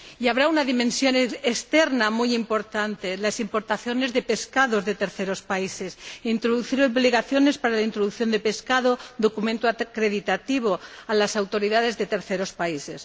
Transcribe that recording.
Y habrá una dimensión externa muy importante, las importaciones de pescado de terceros países, introducir obligaciones para la importación de pescado, documentos acreditativos para las autoridades de terceros países.